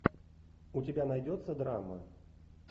у тебя найдется драма